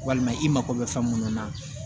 Walima i mako bɛ fɛn mun na